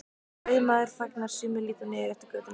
Ræðumaður þagnar, sumir líta niður eftir götunni.